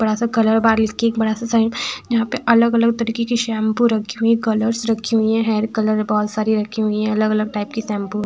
बड़ा सा कलर बाल किक बड़ा सा साइड यहाँ पे अलग-अलग तरीके की शेम्पू रखी हुई है कलर रखी हुई है हेयर कलर बहोत सारी रखी हुई है अलग-अलग टाइप की शेम्पू --